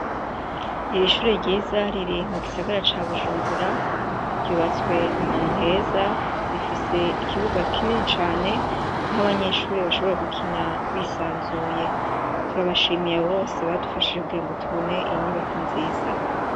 Iri shure ryiza riri mugisagara ca Bujumbura, ryubatswe ahantu heza, rifise ikibuga kinini cane, aho abanyeshure bashobora gukina bisanzuye, turabashimiye abo bose badufashije kugirango tubone iyi nyubako nziza.